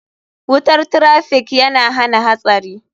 Wutar traffiikyana hana hatsari.